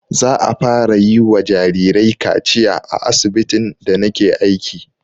Za'a fara yi wa jarirai kaciya a asibitin da na ke aiki